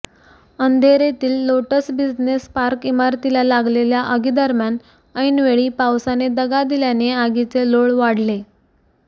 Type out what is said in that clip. अंधेरीतील Lotus Business Park इमारतीला लागलेल्या आगीदरम्यान ऐनवेळी पावसाने दगा दिल्याने आगीचे लोळ वाढले